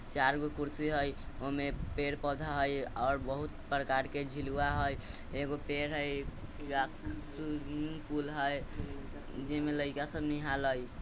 चारगो कुर्सी है उमे पेड़- पौधा है और बहुत प्रकार के झूलवा है एगो पेड़ है ए स्वी-स्विमिंग पूल जिमा लाइका सब निहाला है।